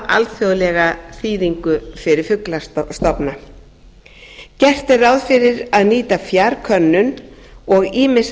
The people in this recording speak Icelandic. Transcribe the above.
alþjóðlega þýðingu fyrir fuglastofna gert er ráð fyrir að nýta fjarkönnun og ýmis leidd gögn